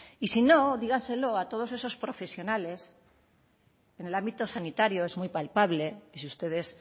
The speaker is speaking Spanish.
y si no dígaselo a todos esos profesionales en el ámbito sanitario es muy palpable y si ustedes